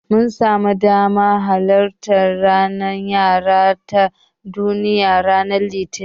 Mun samu damar halartar ranar yara ta Duniya ranar Litinin.